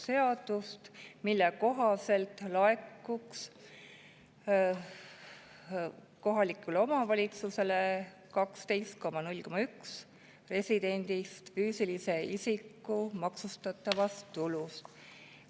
Selle muudatuse kohaselt laekuks kohalikule omavalitsusele 12,01% residendist füüsilise isiku maksustatavast tulust.